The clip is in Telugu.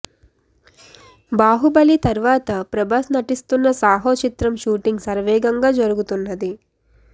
బాహుబలి తర్వాత ప్రభాస్ నటిస్తున్న సాహో చిత్రం షూటింగ్ శరవేగంగా జరుగుతున్నది